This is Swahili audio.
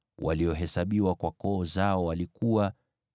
waliohesabiwa kwa koo zao, walikuwa 2,750.